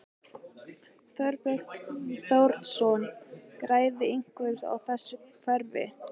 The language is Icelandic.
Þorbjörn Þórðarson: Græðir einhver á þessu kerfi?